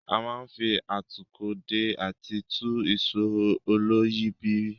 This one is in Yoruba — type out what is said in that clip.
A máa ń fi atúkọ̀ dè àti tú ìsò olóyìíbìrí.